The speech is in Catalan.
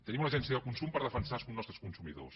tenim una agència de consum per defensar els nostres consumidors